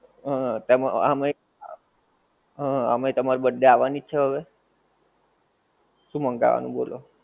હં. તેમ આમેય તમારી birthday આવાની જ છે હવે. શું મંગાવાનું બોલો?